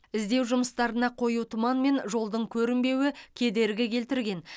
іздеу жұмыстарына қою тұман мен жолдың көрінбеуі кедергі келтірген